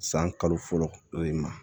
San kalo fɔlɔ de ma